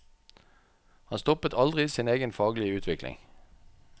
Han stoppet aldri sin egen faglige utvikling.